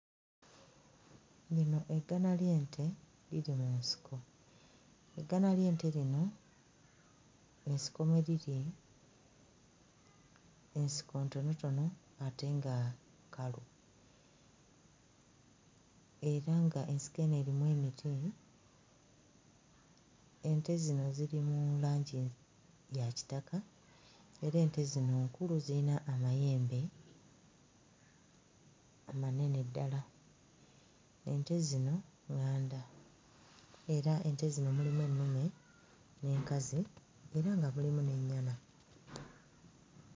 Lino eggana ly'ente liri mu nsiko. Eggana ly'ente lino ensiko mwe liri ensiko ntonotono ate nga kkalu era ng'ensiko eno erimu emiti. Ente zino ziri mu langi ya kitaka era ente zino nkulu, ziyina amayembe amanene ddala. Ente zino ŋŋanda era ente zino mulimu ennume n'enkazi era nga mulimu n'ennyana.